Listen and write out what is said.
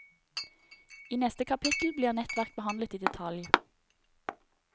I neste kapittel blir nettverk behandlet i detalj.